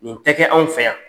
Nin tɛ kɛ an fɛ yan.